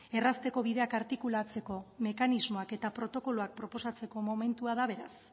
errazteko bideak artikulatzeko mekanismoak eta protokoloak proposatzeko momentua da beraz